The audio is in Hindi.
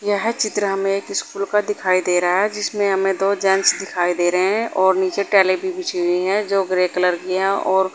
यह चित्र हमें एक स्कूल का दिखाई दे रहा है जिसमें हमें दो जेंस दिखाई दे रहे हैं और नीचे टाइलें भी बिछी हुई है जो ग्रे कलर की है और--